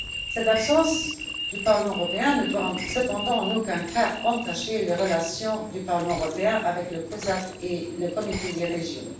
Cette absence du Parlement européen ne doit cependant en aucun cas entacher les relations du Parlement européen avec la COSAC et le Comité des régions.